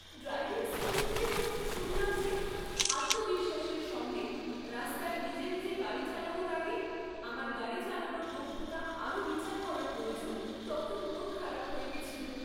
Driving school থেকে যখন শুনলাম যে আত্মবিশ্বাসের সঙ্গে রাস্তায় নিজে নিজে গাড়ি চালানোর আগে আমার গাড়ি চালানোর দক্ষতা আরও বিচার করা প্রয়োজন, তখন মনখারাপ হয়ে গেছিল।